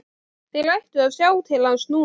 Þeir ættu að sjá til hans núna.